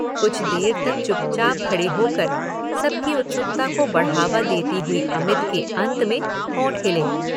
कुछ देर तक चुपचाप खडे़ होकर सबकी उत्सुकता को बढ़ावा देती हुयी अमित के अंत में होंठ हिले।